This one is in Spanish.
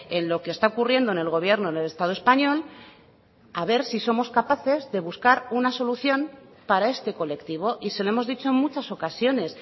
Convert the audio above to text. en lo que está ocurriendo en el gobierno en el estado español a ver si somos capaces de buscar una solución para este colectivo y se lo hemos dicho en muchas ocasiones